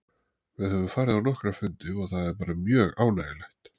Við höfum farið á nokkra fundi og það er bara mjög ánægjulegt.